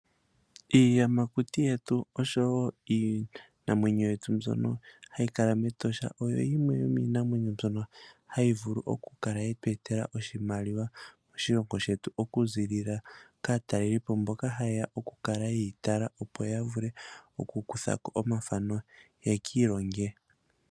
Iiyamakuti yetu oshowo iinamwenyo yetu mbyono hayi kala mEtosha, oyo yimwe yomiinamwenyo mbyono hayi vulu oku kala yetu etela oshimaliwa moshilongo shetu, oku ziilila kaatalelipo mboka ha yeya oku kala yeyi tala, opo ya vule oku kuthako omathano ye ki ilonge.